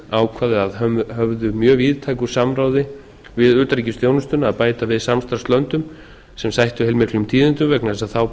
ákvað að höfðu mjög víðtæku samráði við utanríkisþjónustuna að bæta við samstarfslöndum sem sætti heilmiklum tíðindum vegna þess